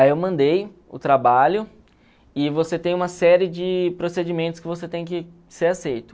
Aí eu mandei o trabalho e você tem uma série de procedimentos que você tem que ser aceito.